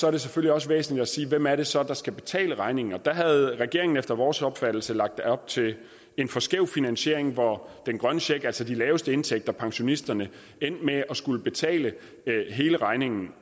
er det selvfølgelig også væsentligt at sige hvem det så er der skal betale regningen der havde regeringen efter vores opfattelse lagt op til en for skæv finansiering hvor den grønne check altså de laveste indtægter pensionisterne endte med at skulle betale hele regningen